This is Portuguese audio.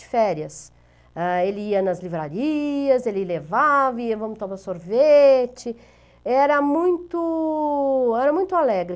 De férias, ah, ia nas livrarias, ele levava, ia tomar sorvete, era muito, era muito alegre.